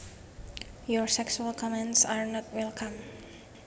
Your sexual comments are not welcome